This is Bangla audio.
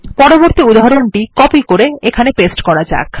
পরবর্তী উদাহরণটি কপি এবং পেস্ট করা যাক